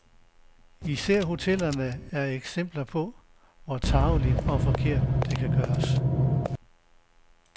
Især hotellerne er eksempler på, hvor tarveligt og forkert det kan gøres.